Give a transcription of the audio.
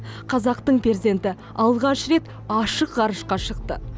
қазақтың перзенті алғаш рет ашық ғарышқа шықты